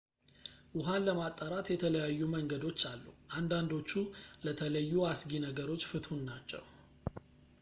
ውሃን ለማጣራት የተለያዩ መንገዶች አሉ አንዳንዶቹ ለተለዩ አስጊ ነገሮች ፍቱን ናቸው